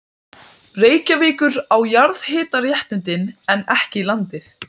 Gamli stóð úti, hæglátur, gráhærður og virðulegur.